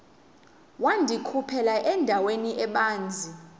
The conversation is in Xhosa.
wandikhuphela endaweni ebanzi